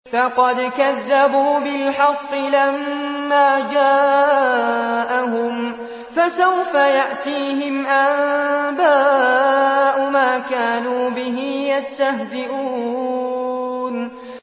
فَقَدْ كَذَّبُوا بِالْحَقِّ لَمَّا جَاءَهُمْ ۖ فَسَوْفَ يَأْتِيهِمْ أَنبَاءُ مَا كَانُوا بِهِ يَسْتَهْزِئُونَ